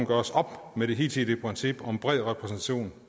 gøres op med det hidtidige princip om bred repræsentation